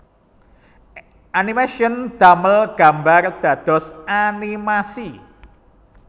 Animation damel gambar dados animasi